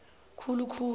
khulu khulu